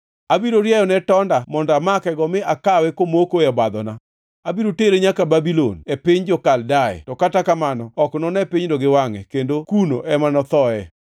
Abiro rieyone tonda mondo amakego mi kawe komoko e obadhona. Abiro tere nyaka Babulon, piny jo-Kaldea, to kata kamano ok none pinyno gi wangʼe, kendo kuno ema nothoe.